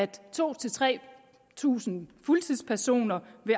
to tusind tre tusind fuldtidspersoner det